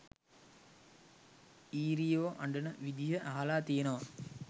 ඊරියෝ අඬන විදිය අහලා තියනවා